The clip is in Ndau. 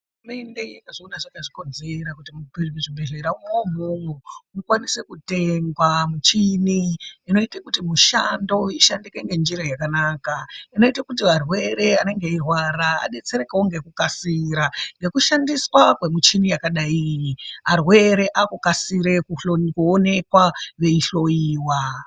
Hurumende yakazviona zvakazvikidzera kuti muzvibhedhleramwo umwomwo mukwanise kutengwa michini inoita kuti mishando ishandike ngenjira yakanaka inoite kuti varwere vanenge veirwara vadetserekewo ngekukasira ngekushandiswa kwemichini yakadai iyi arwere akakusire kuonekwa veihloiwa.